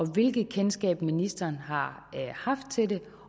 hvilket kendskab ministeren har haft til det